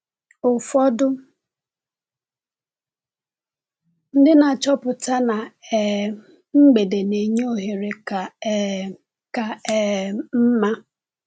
Ụfọdụ ndị na-achọpụta na um mgbede na-enye ohere ka um ka um mma.